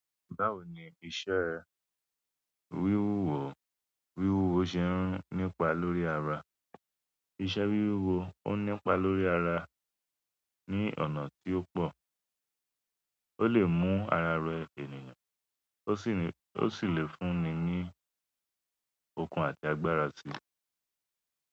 Báwo ni iṣẹ́ wíwúwo, wíwúwo ṣe ń nípa lórí ara? Iṣẹ́ wíwúwo ó nípa lórí ara ní ọ̀nà tí ó pọ̀. O le mu ará ró ènìyàn o si le fún ní ní òkun àti àgbàrá.